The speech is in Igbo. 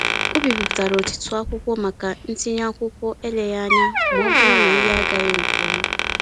Ọ bipụtara ọtụtụ akwụkwọ maka ntinye akwụkwọ eleghị anya maọbụrụ na ihe agaghị nkeọma.